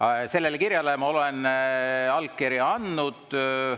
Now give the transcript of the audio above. Aga sellele kirjale ma olen allkirja andnud.